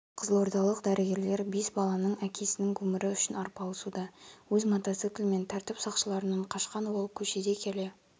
қызылордалық дәрігерлер бес баланың әкесінің өмірі үшін арпалысуда өз мотоциклімен тәртіп сақшыларынан қашқан ол көшеде келе